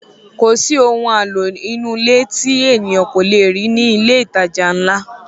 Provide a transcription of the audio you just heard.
Kò sí ohun àlò inú ilé tí ènìyàn kò le rí ní ilé ìtajà ńlá